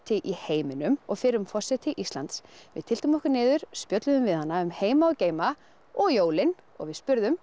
í heiminum og fyrrum forseti Íslands við tylltum okkur niður spjölluðum við hana um heima og geima og jólin og við spurðum